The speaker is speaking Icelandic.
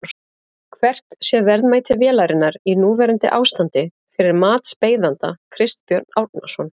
Hvert sé verðmæti vélarinnar í núverandi ástandi fyrir matsbeiðanda Kristbjörn Árnason?